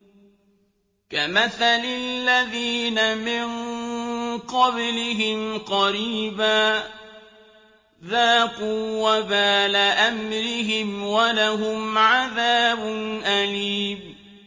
كَمَثَلِ الَّذِينَ مِن قَبْلِهِمْ قَرِيبًا ۖ ذَاقُوا وَبَالَ أَمْرِهِمْ وَلَهُمْ عَذَابٌ أَلِيمٌ